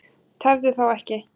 Tefðu þá ekki.